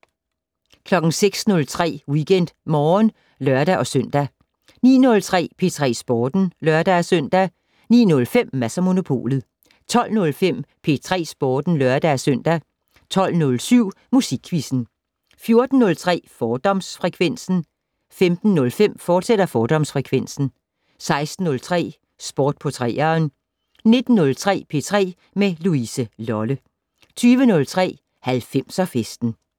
06:03: WeekendMorgen (lør-søn) 09:03: P3 Sporten (lør-søn) 09:05: Mads & Monopolet 12:05: P3 Sporten (lør-søn) 12:07: Musikquizzen 14:03: Fordomsfrekvensen 15:05: Fordomsfrekvensen, fortsat 16:03: Sport på 3'eren 19:03: P3 med Louise Lolle 20:03: 90'er-festen